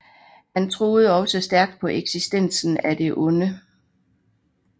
Han troede også stærkt på eksistensen af det onde